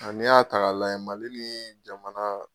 A n'i y'a ta k'a lajɛ Mali ni jamana